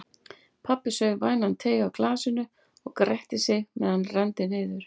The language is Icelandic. Pabbi saup vænan teyg af glasinu og gretti sig meðan hann renndi niður.